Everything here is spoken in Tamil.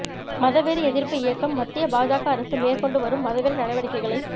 மதவெறி எதிர்ப்பு இயக்கம் மத்திய பாஜக அரசு மேற்கொண்டு வரும் மதவெறி நடவடிக்கைகளை